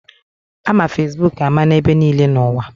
Ama Fesbuk ama n'ebe niile n'ụwa.